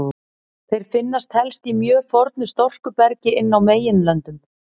Þeir finnast helst í mjög fornu storkubergi inn á meginlöndum.